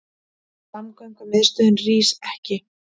Samgöngumiðstöðin rís ekki